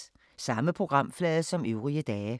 Samme programflade som øvrige dage